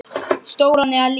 Stóran eða lítinn?